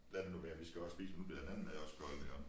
Lad det nu være vi skal også spise nu bliver den anden mad også kold her